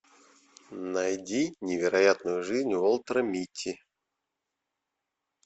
найди невероятную жизнь уолтера митти